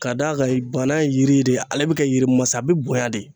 Ka d'a kan bana ye yiri de ale bɛ kɛ yiri masa bɛ bonya de.